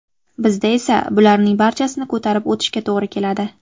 Bizda esa bularning barchasini ko‘tarib o‘tishga to‘g‘ri keladi.